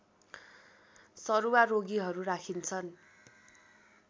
सरुवा रोगीहरू राखिन्छन्